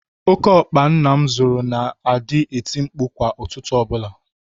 Óké ọkpa nna m zụrụ na-adị eti mkpu kwa ụtụtụ ọbụla.